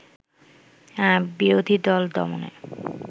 বিরোধী দল দমনে